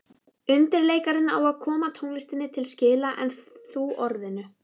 Undirleikarinn á að koma tónlistinni til skila en þú orðinu.